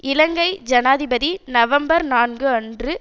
இலங்கை ஜனாதிபதி நவம்பர் நான்கு அன்று